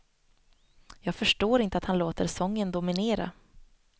Jag förstår inte att han låter sången dominera.